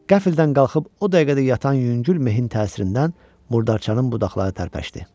Qəfildən qalxıb o dəqiqə də yatan yüngül mehin təsirindən murdarçanın budaqları tərpəşdi.